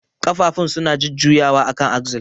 Ƙafafun suna jujjuyawa akan axle.